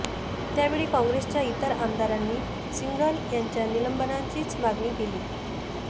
त्यावेळी काँग्रेसच्या इतर आमदारांनी सिंघल यांच्या निलंबनाचीच मागणी केली